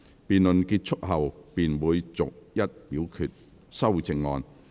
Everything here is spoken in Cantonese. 辯論結束後便會逐一表決修正案。